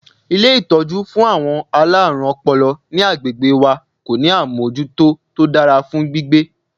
Ilé ìtọ́jú fún àwọn alárùn ọpọlọ ní agbègbè wa kò ní àmọ́jútó tó dára fún gbígbé.